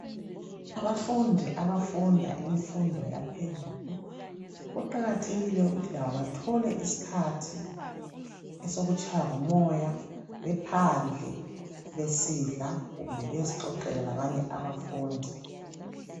Abafundi abafunda imfundo yaphezulu, kuqakathekile ukuthi labo bathole isikhathi esokutshaywa ngumoya bephandle, besidla kumbe bezixoxela labanye abafundi.